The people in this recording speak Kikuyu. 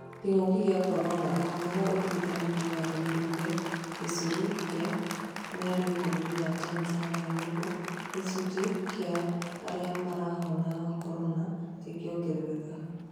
Kĩng'uki gĩa korona: rũhonge rwa ũrigitani thĩ yothe nĩrũnge gĩcũrĩ kĩa mĩario bũrũri wa Tanzania gũkũ gĩcunjĩ kĩa arĩa marahona korona gĩkĩongerereka